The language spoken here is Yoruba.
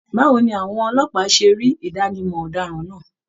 Báwo ni àwọn ọlọ́pàá se rí Idanimọ ọdaràn náà?